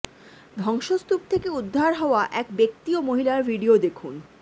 ধ্বংসস্তূপ থেকে উদ্ধার হওয়া এক ব্যক্তি ও মহিলার ভিডিও দেখুন